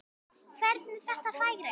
Hvernig þetta færi.